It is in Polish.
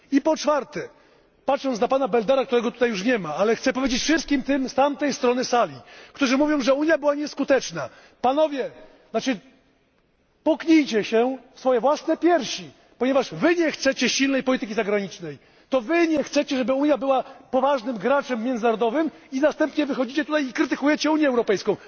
I po piąte, patrząc na pana Beldera, którego tutaj już nie ma, ale chcę powiedzieć już wszystkim tym z tamtej strony sali, którzy mówią, że Unia była nieskuteczna Panowie puknijcie się w swoje własne piersi, ponieważ Wy nie chcecie silnej polityki zagranicznej, to Wy nie chcecie, żeby Unia była poważnym graczem międzynarodowym i następnie wychodzicie tutaj i krytykujecie Unię Europejską.